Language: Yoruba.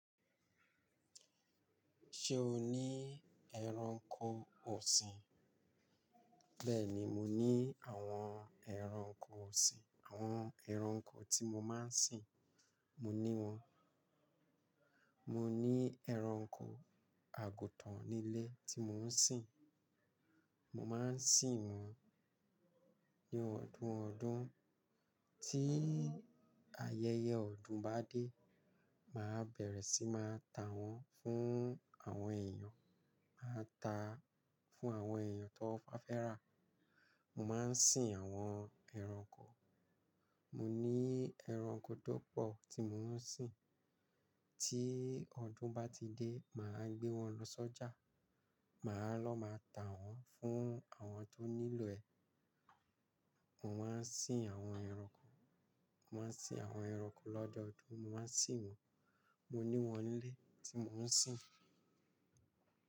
Ṣé o ní ẹranko ọ̀sìn? Bẹ́ẹ̀ni, mo ní àwọn ẹranko ọ̀sìn. Àwọn ẹranko tí mo máa ń sìn, mo ní wọn. Mo ní ẹranko àgùtàn nílé tí mò ń sìn. Mo máa ń sìn wọn ní ọdún ọdún. Tí ayẹyẹ ọdún bá dé, màá bẹ̀rẹ̀ sí máa ta wọ́n fún àwọn èèyàn. Màá ta fún àwọn èèyàn tó bá fẹ́ rà. Mo máa ń sìn àwọn ẹranko. Mo ní ẹranko tó pọ̀ tí mò ń sìn. Tí ọdún bá ti dé, màá gbé wọn lọ sọ́jà. Màá lọ màá ta wọ́n fún àwọn tó nílò ẹ̀. Mo máa ń sìn àwọn ẹranko, mo máa ń sìn àwọn ẹranko lọ́dọdún. Mo máa ń sìn wọn. Mo ní wọn nílé tí mò ń sìn.